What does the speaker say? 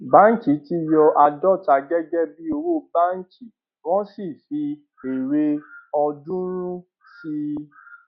báńkì ti yọ àádóta gẹgẹ bí owó báńkì wọn sì fi èrè ọọdúnrún sí i